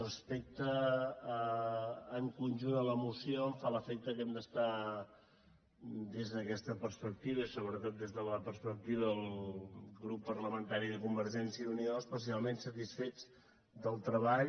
respecte al conjunt de la moció em fa l’efecte que hem d’estar des d’aquesta perspectiva i sobretot des de la perspectiva del grup parlamentari de convergència i unió especialment satisfets del treball